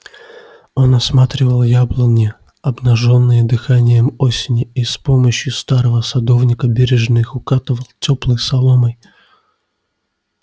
он осматривал яблони обнажённые дыханием осени и с помощию старого садовника бережно их укутывал тёплой соломой